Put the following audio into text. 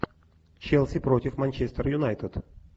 челси против манчестер юнайтед